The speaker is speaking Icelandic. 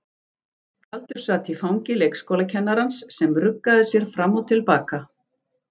Galdur sat í fangi leikskólakennarans sem ruggaði sér fram og til baka.